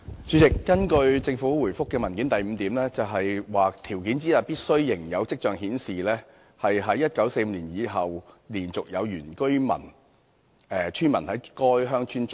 主席，根據政府主體答覆的第 v 項，條件之一是"必須仍有跡象顯示，自1945年以來連續有原居村民在該鄉村聚居"。